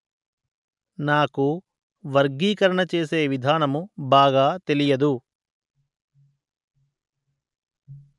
నాకు వర్గీకరణ చేసే విధానము బాగా తెలియదు